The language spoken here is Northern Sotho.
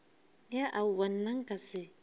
ya aowa nna nka se